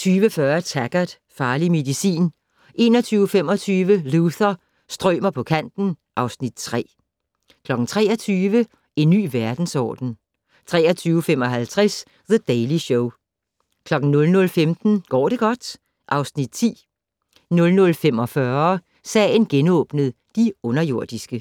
20:40: Taggart: Farlig medicin 21:25: Luther - strømer på kanten (Afs. 3) 23:00: En ny verdensorden 23:55: The Daily Show 00:15: Går det godt? (Afs. 10) 00:45: Sagen genåbnet: De underjordiske